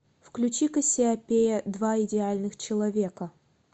включи кассиопея два идеальных человека